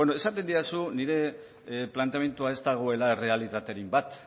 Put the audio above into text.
beno esaten didazu nire planteamendua ez dagoela errealitatearekin bat